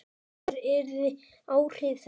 Hver yrðu áhrif þess?